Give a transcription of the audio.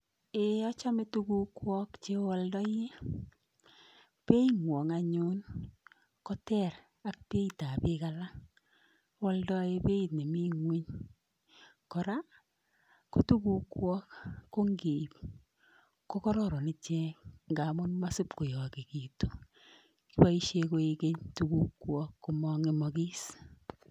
Ee achome tugukwok cheoaldoi. Being'wong anyun koter ak beitap biik alak, oaldoe beit nemi ng'ony. Kora, ko tugukwok ko nkiip ko kororon ichek nkamun masipkoyokikitu, kiboishe kwek keny tugukwok komong'emokis.